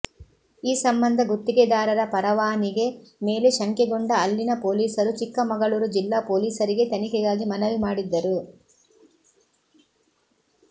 ಈ ಸಂಬಂಧ ಗುತ್ತಿಗೆದಾರರ ಪರವಾನಿಗೆ ಮೇಲೆ ಶಂಕೆಗೊಂಡ ಅಲ್ಲಿನ ಪೊಲೀಸರು ಚಿಕ್ಕಮಗಳೂರು ಜಿಲ್ಲಾ ಪೊಲೀಸರಿಗೆ ತನಿಖೆಗಾಗಿ ಮನವಿ ಮಾಡಿದ್ದರು